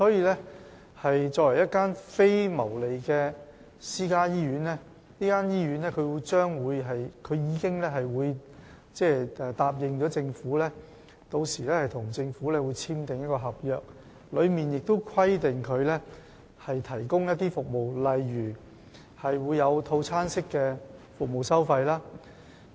因此，作為一間非牟利的私營醫院，中大醫院已經向政府承諾，稍後會與政府簽訂合約，當中會規定醫院提供例如套餐式收費的服務。